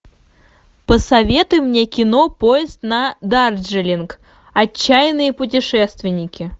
посоветуй мне кино поезд на дарджилинг отчаянные путешественники